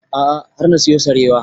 A'a har na siyo sarewa